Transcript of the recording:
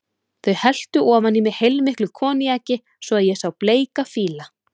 Þau helltu ofan í mig heilmiklu koníaki svo að ég sá bleika fíla.